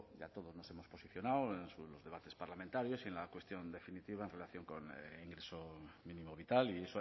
ya todos nos hemos posicionado en los debates parlamentarios y en la cuestión en definitiva en relación con el ingreso mínimo vital y